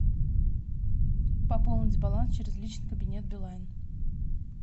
пополнить баланс через личный кабинет билайн